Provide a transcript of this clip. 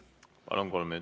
Palun!